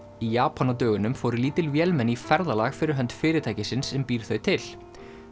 í Japan á dögunum fóru lítil vélmenni í ferðalag fyrir hönd fyrirtækisins sem býr þau til